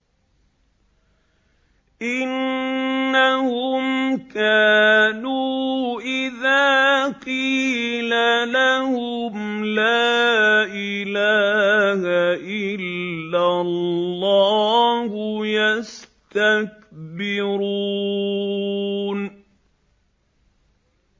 إِنَّهُمْ كَانُوا إِذَا قِيلَ لَهُمْ لَا إِلَٰهَ إِلَّا اللَّهُ يَسْتَكْبِرُونَ